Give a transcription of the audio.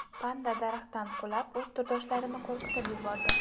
Panda daraxtdan qulab, o‘z turdoshlarini qo‘rqitib yubordi .